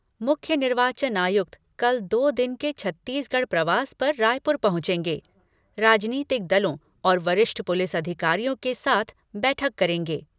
मुख्य निर्वाचन आयुक्त कल दो दिन के छत्तीसगढ़ प्रवास पर रायपुर पहुंचेंगे राजनीतिक दलों और वरिष्ठ पुलिस अधिकारियों के साथ बैठक करेंगे।